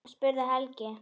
spurði Helga.